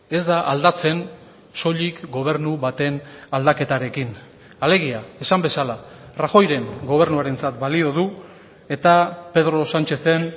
ez da aldatzen soilik gobernu baten aldaketarekin alegia esan bezala rajoyren gobernuarentzat balio du eta pedro sánchezen